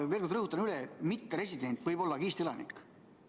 Ma veel kord rõhutan, et mitteresident võib olla ka Eesti elanik.